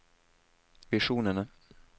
visjonene